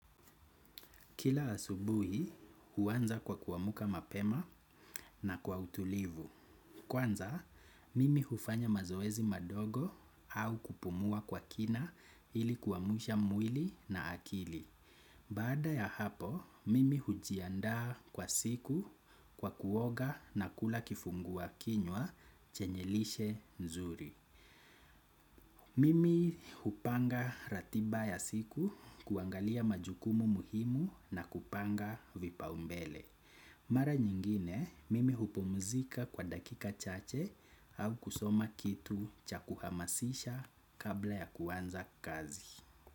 Kila asubuhi huanza kwa kuamka mapema na kwa utulivu. Kwanza, mimi hufanya mazoezi madogo au kupumua kwa kina ili kuamsha mwili na akili. Baada ya hapo mimi hujiandaa kwa siku kwa kuoga na kula kifungua kinywa chenye lishe nzuri. Mimi hupanga ratiba ya siku kuangalia majukumu muhimu na kupanga vipaombele. Mara nyingine mimi hupumzika kwa dakika chache au kusoma kitu cha kuhamasisha kabla ya kuanza kazi.